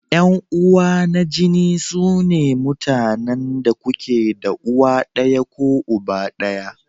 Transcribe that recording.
Yan uwa na jini sune mutanen da kuke da uwa ɗaya ko uba ɗaya.